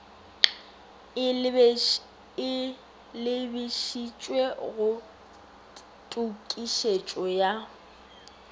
e lebišitšwego go tokišetšo ya